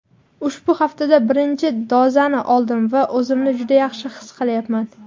Ushbu haftada birinchi dozani oldim va o‘zimni juda yaxshi his qilyapman.